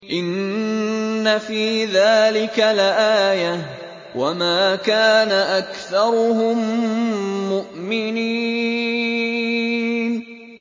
إِنَّ فِي ذَٰلِكَ لَآيَةً ۖ وَمَا كَانَ أَكْثَرُهُم مُّؤْمِنِينَ